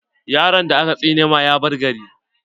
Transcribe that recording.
Yaron da aka tsine ma ya bar gari.